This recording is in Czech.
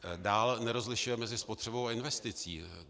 Dále nerozlišuje mezi spotřebou a investicí.